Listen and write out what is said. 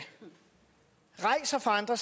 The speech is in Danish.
rejser for andre